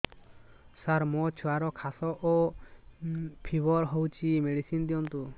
ସାର ମୋର ଛୁଆର ଖାସ ଓ ଫିବର ହଉଚି ମେଡିସିନ ଦିଅନ୍ତୁ